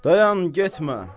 Dayan, getmə!